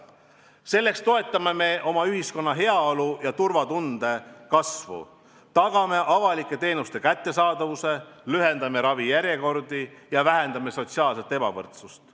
Selleks toetame oma ühiskonna heaolu ja turvatunde kasvu, tagame avalike teenuste kättesaadavuse, lühendame ravijärjekordi ja vähendame sotsiaalset ebavõrdsust.